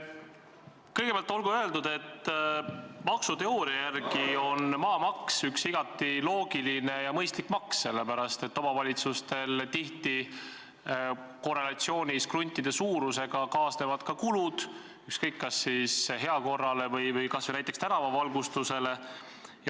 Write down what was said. Kõigepealt olgu öeldud, et maksuteooria järgi on maamaks üks igati loogiline ja mõistlik maks, sest omavalitsustel kaasnevad tihti korrelatsioonis kruntide suurusega ka kulud, ükskõik kas siis kulutused heakorrale või kas või näiteks tänavavalgustusele.